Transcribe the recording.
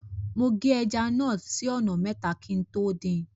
Mo gé ẹja náà sí ọ̀nà mẹ́ta kí n tó dín in.